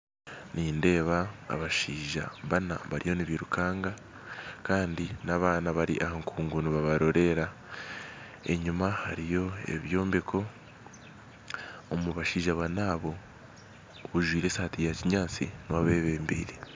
Nindeeba abashaija bana bariyo nibairukanga kandi n'abaana bari aha nkungu nibabarorerera. Enyima hariyo ebyombeko. Omu bashaija bana abo ojwaire esaati ya kinyaatsi niwe abebembeire.